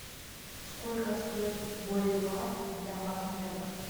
сколько стоит боливар для обмена